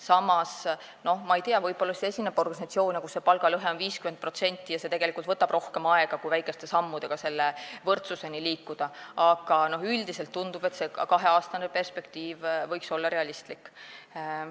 Samas, ma ei tea, võib-olla on organisatsioone, kus palgalõhe on 50% ja see võtab rohkem aega, kui väikeste sammudega selle võrdsuseni liikuda, aga üldiselt tundub, et see kaheaastane perspektiiv võiks olla realistlik.